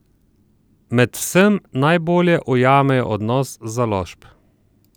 Med vsem najbolje ujamejo odnos založb.